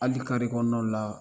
Hali kɔnɔnaw la